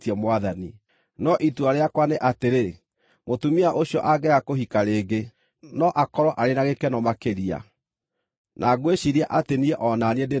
No itua rĩakwa nĩ atĩrĩ, mũtumia ũcio angĩaga kũhika rĩngĩ, no akorwo arĩ na gĩkeno makĩria. Na ngwĩciiria atĩ niĩ o na niĩ ndĩ na Roho wa Ngai.